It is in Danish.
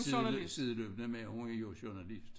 Side sideløbende med hun er jo journalist